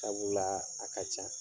Sabula a ka can.